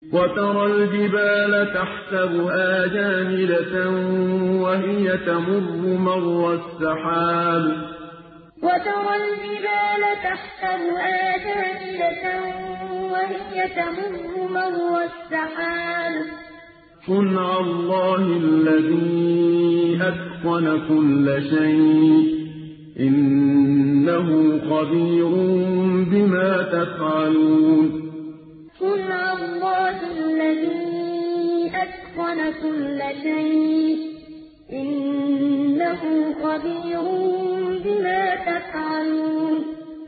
وَتَرَى الْجِبَالَ تَحْسَبُهَا جَامِدَةً وَهِيَ تَمُرُّ مَرَّ السَّحَابِ ۚ صُنْعَ اللَّهِ الَّذِي أَتْقَنَ كُلَّ شَيْءٍ ۚ إِنَّهُ خَبِيرٌ بِمَا تَفْعَلُونَ وَتَرَى الْجِبَالَ تَحْسَبُهَا جَامِدَةً وَهِيَ تَمُرُّ مَرَّ السَّحَابِ ۚ صُنْعَ اللَّهِ الَّذِي أَتْقَنَ كُلَّ شَيْءٍ ۚ إِنَّهُ خَبِيرٌ بِمَا تَفْعَلُونَ